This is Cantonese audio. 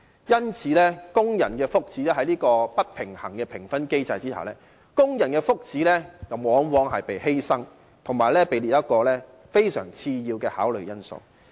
因此，在這種不平衡的評分機制下，工人的福祉往往被犧牲，以及被列為非常次要的考慮因素。